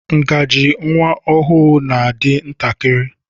Ngaji nwa ọhụụ na-adi ntakịrị.